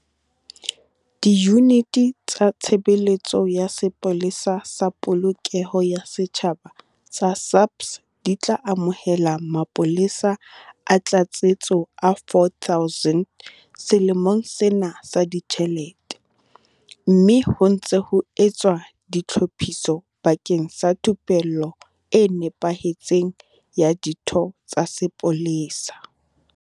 Diyuniti tsa Tshebeletso ya Sepolesa sa Polokeho ya Setjhaba tsa SAPS di tla amohela mapolesa a tlatsetso a 4 000 selemong sena sa ditjhelete, mme ho ntse ho etswa ditlhophiso bakeng sa thupello e nepahetseng ya ditho tsa sepolesa.